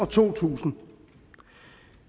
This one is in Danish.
to tusind